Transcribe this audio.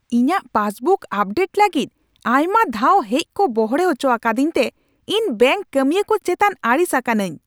ᱤᱧᱟᱹᱜ Facebook update ᱞᱟᱹᱜᱤᱫ ᱟᱭᱢᱟ ᱫᱷᱟᱣ ᱦᱮᱡ ᱠᱚ ᱵᱚᱲᱦᱮ ᱦᱚᱪᱚ ᱟᱠᱟᱫᱤᱧᱛᱮ ᱤᱧ ᱵᱮᱝᱠ ᱠᱟᱢᱤᱭᱟᱹ ᱠᱚ ᱪᱮᱛᱟᱱ ᱟᱹᱲᱤᱥ ᱟᱠᱟᱱᱟ.ᱧ ᱾